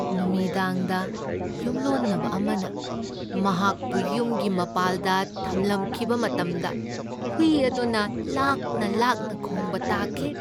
ꯅꯨꯃꯤꯗꯥꯡꯗ ꯌꯨꯝꯂꯣꯟꯅꯕ ꯑꯃꯅ ꯃꯍꯥꯛꯄꯨ ꯌꯨꯝꯒꯤ ꯃꯄꯥꯜꯗ ꯊꯝꯂꯝꯈꯤꯕ ꯃꯇꯝꯗ ꯍꯨꯏ ꯑꯗꯨꯅ ꯂꯥꯛꯅ ꯂꯥꯛꯅ ꯈꯣꯡꯕ ꯇꯥꯈꯤ꯫